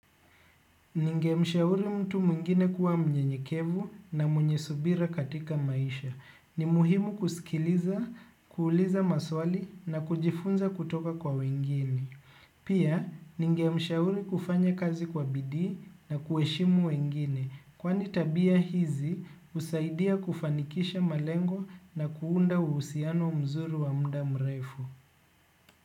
Ningemshauri mtu mwingine kuwa mnyenyekevu na mwenye subira katika maisha. Ni muhimu kusikiliza, kuuliza maswali na kujifunza kutoka kwa wengine. Pia, ningemshauri kufanya kazi kwa bidii na kuheshimu wengine. Kwani tabia hizi, husaidia kufanikisha malengo na kuunda uhusiano mzuri wa muda mrefu.